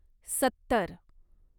सत्तर